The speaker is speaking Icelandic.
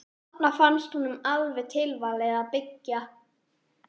Og þarna fannst honum alveg tilvalið að byggja.